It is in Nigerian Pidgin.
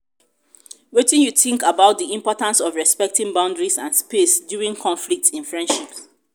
wetin you think about di importance of respecting boundaries and space during conflicts in friendships?